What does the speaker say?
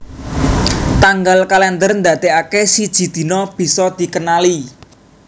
Tanggal kalèndher ndadèkaké siji dina bisa dikenali